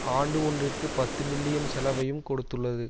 ஆண்டு ஒன்றிற்கு பத்து பில்லியன் செலவையும் கொடுத்துள்ளது